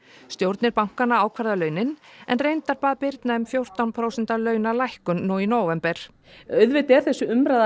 stjórnir bankanna ákvarða launin en reyndar bað Birna um fjórtán prósent launalækkun nú í nóvember auðvitað er þessi umræða